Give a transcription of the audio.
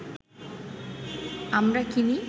আমরা কিনি